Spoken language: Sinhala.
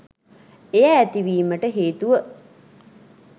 එය ඇතිවීමට හේතුව